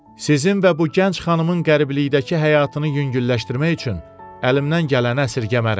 Sizin və bu gənc xanımın qəriblikdəki həyatını yüngülləşdirmək üçün əlimdən gələni əsirgəmərəm.